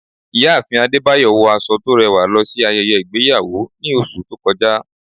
ìyáàfín adébáyọ wọ aso to rẹwa losí ayéyé igbeyawo ní oṣù to kọjá